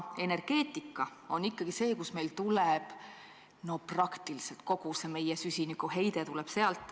Energeetika on ikkagi see, kust praktiliselt kogu meie süsinikuheide tuleb.